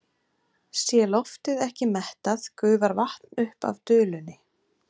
Sé loftið ekki mettað gufar vatn upp af dulunni.